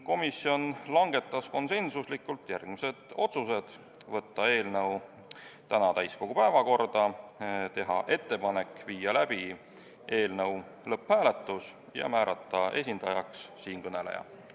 Komisjon langetas konsensuslikult järgmised otsused: võtta eelnõu tänaseks täiskogu päevakorda, teha ettepanek viia läbi eelnõu lõpphääletus ja määrata esindajaks siinkõneleja.